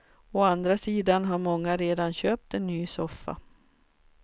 Å andra sidan har många redan köpt en ny soffa.